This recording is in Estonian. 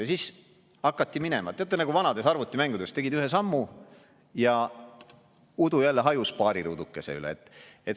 Ja siis hakati minema nagu vanades arvutimängudes: tegid ühe sammu, ja udu hajus paari ruudukese kohalt.